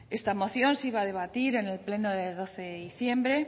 esta moción se iba a debatir en el pleno del doce de diciembre